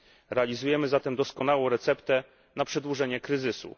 Realizujemy zatem doskonałą receptę na przedłużenie kryzysu.